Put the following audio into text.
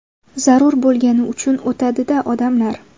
Zarur bo‘lgani uchun o‘tadi-da odamlar.